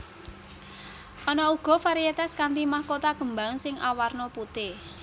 Ana uga varietas kanthi mahkota kembang sing awarna putih